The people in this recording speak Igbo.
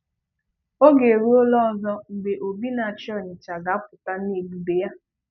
Oge eruola ọzọ mgbe Obi na-achị Onitsha ga-apụta n'ebube ya.